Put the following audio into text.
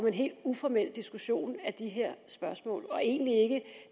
en helt uformel diskussion af de her spørgsmål det er egentlig ikke